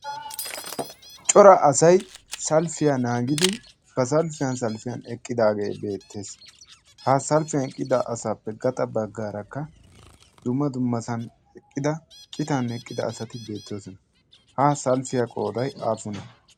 cora asay salppiyaa naagidi ba salppiyaan salppiyan eqqidaagee beettees. ha salppiyaan eqqida asappe gaxa baggaarakka dumma dummasan eqqida citan eqqida asati beettoosona. ha salppiyaa qooday aappunee?